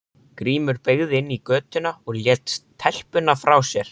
Grímur beygði inn í götuna og lét telpuna frá sér.